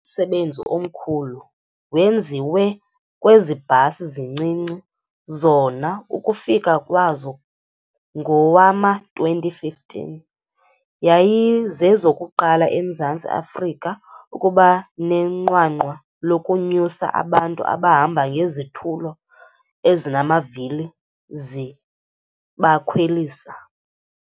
Umsebenzi omkhulu wenziwe kwezi bhasi zincinci, zona ukufika kwazo ngowama-2015, yayizezokuqala eMzantsi Afrika ukuba nenqwanqwa lokunyusa abantu abahamba ngezitulo ezinamavili zibakhwelisa.